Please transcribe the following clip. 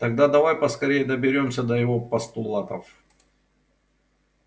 тогда давай поскорее доберёмся до его постулатов